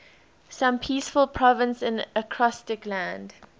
some peaceful province in acrostic land